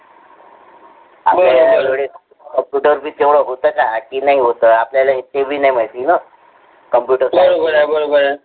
आपल्या वेळेस computer बी पहिले होतं का? आधी नव्हतं आपल्याला एकही नाही माहिती ना कम्प्युटरचं